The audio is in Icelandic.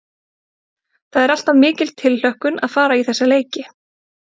Það er alltaf mikil tilhlökkun að fara í þessa leiki.